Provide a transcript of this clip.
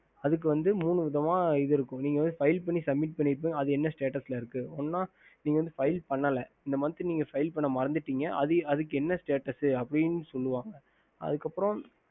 ஹம்